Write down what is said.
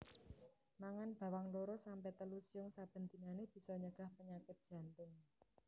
Mangan bawang loro sampe telu siung saben dinané bisa nyegah panyakit jantung